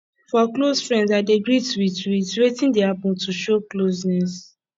for close friends i dey greet with with wetin dey happen to show closeness